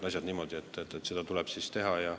Ausalt!